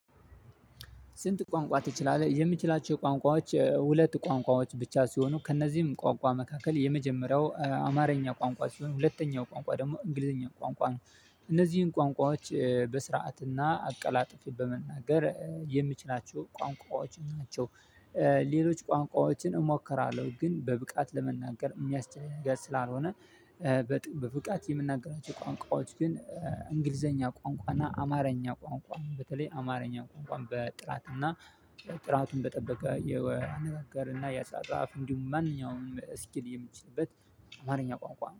ስንት? ቋንቋ ትችላለህ የምችላቸው ቋንቋዎች ሁለት ቋንቋዎች ብቻ ሲሆኑ ከእነዚህም ቋንቋ መካከል የመጀመሪያው አማርኛ ቋንቋ ሲሆን ሁለተኛው ቋንቋ ደግሞ እንግሊዘኛ ቋንቋ ነው። እነዚህን ቋንቋዎች በስርዓትና አቀላጥፌ በመናገር የምችላቸው ቋንቋዎች ናቸው። ሌሎች ቋንቋዎችን እሞክራለሁ ግን በብቃት ለመናገር የሚያስችል ነገር ስላልሆነ በብቃት የምናገራቸው ቋንቋዎች ግን እንግሊዘኛ ቋንቋ እና አማርኛ ቋንቋ በተለይ አማርኛ ቋንቋን በጥራት እና ጥራቱን በጠበቀ የአነጋጋር እና የአጻጻፍ እንዲሁም ማንኛውንም ስኪል የምችልበት ማንኛው ቋንቋ